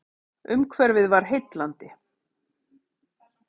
Umhverfið var heillandi.